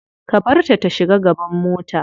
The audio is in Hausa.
Ka barta ta shiga gaban mota.